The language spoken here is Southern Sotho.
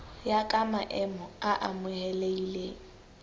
ya ka maemo a amohelehileng